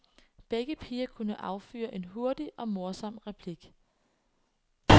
Begge piger kunne affyre en hurtig og morsom replik.